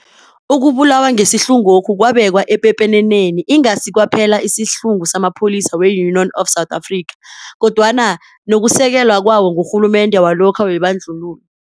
Ukubulawa ngesihlungokhu kwabeka epepeneneni ingasi kwaphela isihlungu samapholisa we-Union of South Africa kodwana nokusekelwa kwawo ngurhulumende walokha webandlululo.